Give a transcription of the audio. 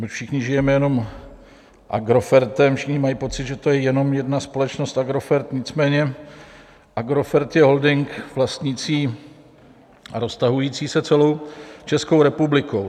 My všichni žijeme jenom Agrofertem, všichni mají pocit, že to je jenom jedna společnost Agrofert, nicméně Agrofert je holding vlastnící a roztahující se celou Českou republikou.